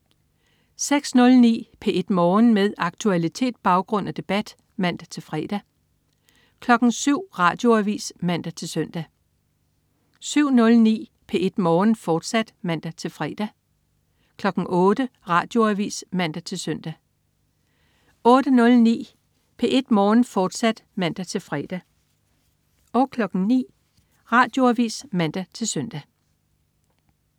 06.09 P1 Morgen. Med aktualitet, baggrund og debat (man-fre) 07.00 Radioavis (man-søn) 07.09 P1 Morgen, fortsat (man-fre) 08.00 Radioavis (man-søn) 08.09 P1 Morgen, fortsat (man-fre) 09.00 Radioavis (man-søn)